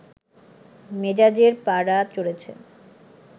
মেজাজের পারা চড়ছে